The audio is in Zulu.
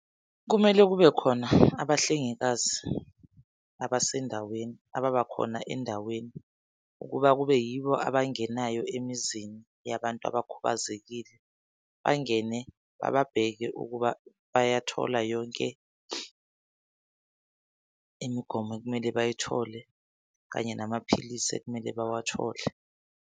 Kumele kube khona abahlengikazi abasendaweni ababakhona endaweni ukuba kube yibo abangenayo emizini yabantu abakhubazekile. Bangene bababheke ukuba bayathola yonke imigomo ekumele bayithole kanye namaphilisi ekumele bawathole.